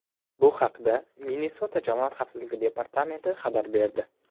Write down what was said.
Bu haqda Minnesota jamoat xavfsizligi departamenti xabar berdi .